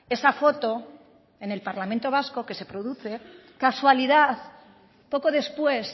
esa foto en el parlamento vasco que se produce casualidad poco después